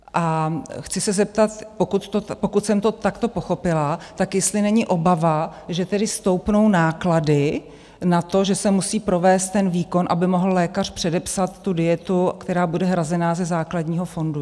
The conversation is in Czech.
A chci se zeptat, pokud jsem to takto pochopila, tak jestli není obava, že tedy stoupnou náklady na to, že se musí provést ten výkon, aby mohl lékař předepsat tu dietu, která bude hrazena ze základního fondu.